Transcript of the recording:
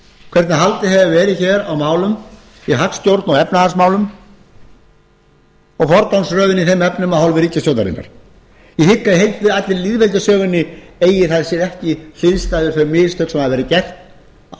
hvernig haldið hefur verið hér á málum í hagstjórn og efnahagsmálum og forgangsröðun í þeim efnum af hálfu ríkisstjórnarinnar ég hygg að í allri lýðveldissögunni eigi það sé ekki hliðstæðu þau mistök sem hafa verið gerð á